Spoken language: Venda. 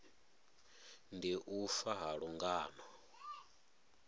ndi u fa ha lungano